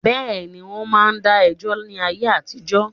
Bẹ́ẹ̀ni, wọ́n ma n dá ẹjọ́ ni ayé àtijọ́